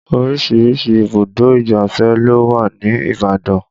Oríṣiríṣi ibùdó ìgbáfẹ́ ló wà ní Ibadan